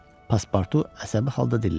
Paspartu əsəbi halda dilləndi.